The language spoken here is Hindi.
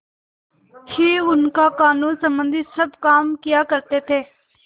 ही उनका कानूनसम्बन्धी सब काम किया करते थे